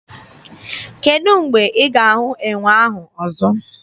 Kedụ mgbe ị ga-ahụ enwe ahụ ọzọ?